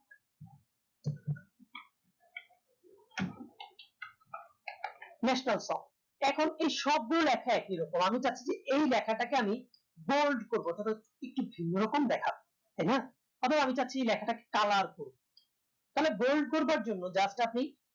national song এখন এই সব গুলো লেখায় একইরকম আমি চাচ্ছি যে এই লেখাটাকে আমি bold করবো অথবা একটু ভিন্ন রকম দেখাবো তাইনা এবং আমি চাচ্ছি এই লেখাটাকে colour করি তাহলে bold করবার জন্য just আপনি